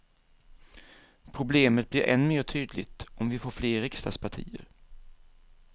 Problemet blir än mer tydligt om vi får fler riksdagspartier.